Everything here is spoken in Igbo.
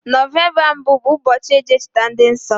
November mbụ bụ mbochi eji echeta ndi nso